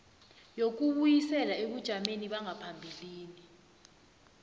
yokubuyisela ebujameni bangaphambilini